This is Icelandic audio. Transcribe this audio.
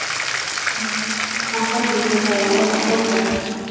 Maður hefði nú þakkað fyrir að fá að læra á hljóðfæri.